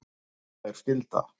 Þungbær skylda